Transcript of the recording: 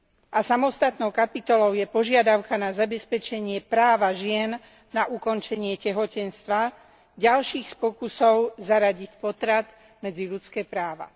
A samostatnou kapitolou je požiadavka na zabezpečenie práva žien naukončenie tehotenstva, ďalší z pokusov zaradiť potrat medzi ľudské práva.